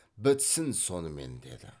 бітсін сонымен деді